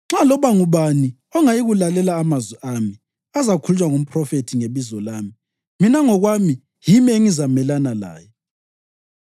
Nxa loba ngubani ongayikulalela amazwi ami azakhulunywa ngumphrofethi ngebizo lami, mina ngokwami yimi engizamelana laye.